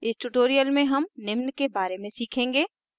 इस tutorial में हम निम्न के बारे में सीखेंगे